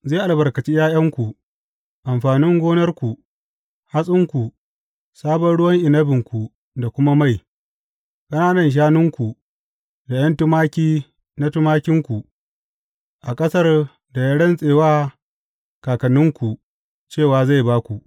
Zai albarkaci ’ya’yanku, amfanin gonarku; hatsinku, sabon ruwan inabinku da kuma mai, ƙanana shanunku, da ’yan tumaki na tumakinku, a ƙasar da ya rantse wa kakanninku cewa zai ba ku.